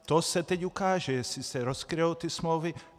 To se teď ukáže, jestli se rozkryjí ty smlouvy.